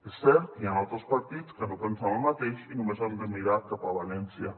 és cert que hi han altres partits que no pensen el mateix i només hem de mirar cap a valència